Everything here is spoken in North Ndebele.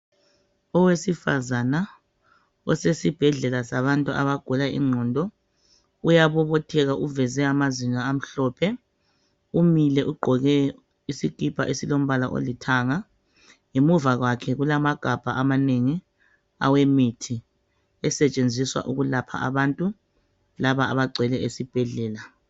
Owesifazana osesibhedlela sabantu abagula ingqondo uyabobotheka uveze amazinyo amhlophe umile ugqoke isikipa esilomba olithanga. Ngemuva kwakhe kulamagabha amanengi awemithi esetshenziswa ukulapha abantu laba abagcwele esibhedlela.